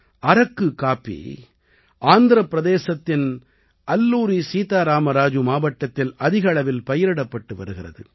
அரக்கு coffee ஆந்திரப் பிரதேசத்தின் அல்லூரி சீதா ராம ராஜு மாவட்டத்தில் அதிக அளவில் பயிரிடப்பட்டு வருகிறது